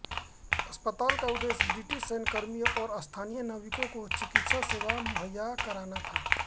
अस्पताल का उद्देश्य ब्रिटिश सैन्य कर्मियों और स्थानीय नाविकों को चिकित्सा सेवा मुहैया कराना था